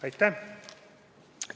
Aitäh!